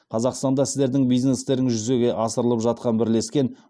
қазақстанда сіздердің бизнестеріңіз жүзеге асырылып жатқан бірлескен